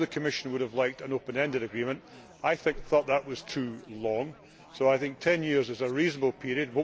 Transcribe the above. I know the Commission would have liked an open ended agreement, but I thought that was too long, and ten years is a reasonable period.